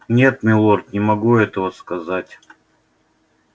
нет милорд не могу этого сказать